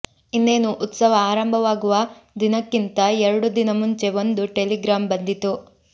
ಇನ್ನೇನು ಉತ್ಸವ ಆರಂಭವಾಗುವ ದಿನಕ್ಕಿಂತ ಎರಡು ದಿನ ಮುಂಚೆ ಒಂದು ಟೆಲಿಗ್ರಾಮ್ ಬಂದಿತು